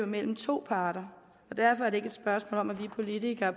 mellem to parter og derfor er det spørgsmål om at vi politikere